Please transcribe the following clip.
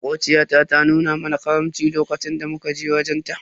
Makociya ta nuna mana karamci a lokacin da muka je wajen ta.